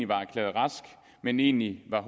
var erklæret rask men egentlig var